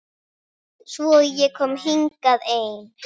Svo ég kom hingað ein.